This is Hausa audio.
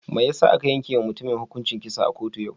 Mai yasa aka yanke wa mutumin hukuncin kisa a kotu yau?